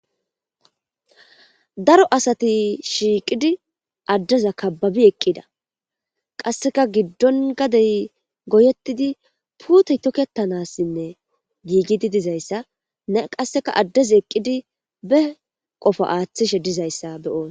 Dado asati shiiqidi addeza kababi eqqida qasseka giddon gadey goyettidi puutey tokketanassinne giigidi dizayssa ne qasseka addeza eqqidi be qofo aaththishe dizayssa beoosa.